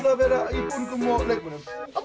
að vera í búningum og leikmunum